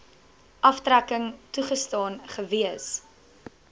aftrekking toegestaan gewees